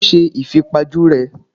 Ta ló ṣe ìfipajú rèé?